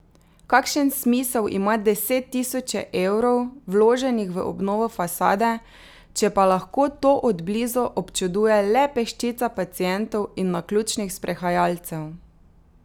Kakšen smisel ima deset tisoče evrov, vloženih v obnovo fasade, če pa lahko to od blizu občuduje le peščica pacientov in naključnih sprehajalcev?